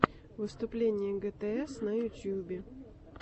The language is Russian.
выступление гтс на ютюбе